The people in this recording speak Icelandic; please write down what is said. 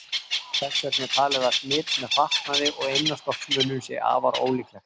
Þess vegna er talið að smit með fatnaði og innanstokksmunum sé afar ólíklegt.